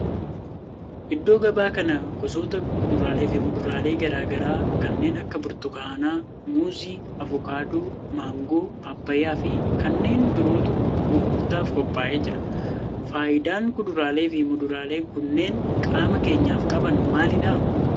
Iddoo gabaa kana gosoota kuduraalee fi muduraalee garaa garaa kanneen akka burtukaana, muuzii, avokaadoo, maangoo, paappayyaa fi kanneen birootu gurgurtaaf qophaa'ee jira. faayidaan kuduraalee fi muduraaleen kunneen qaama keenyaf qaban maalidha?